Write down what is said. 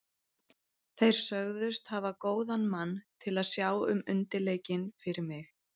Þeir sögðust hafa góðan mann til að sjá um undirleikinn fyrir mig.